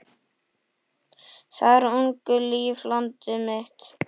Þar ungu lífi landið mitt?